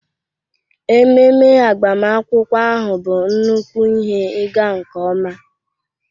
Ememe agbamakwụkwọ ahụ bụ nnukwu ihe ịga nke ọma.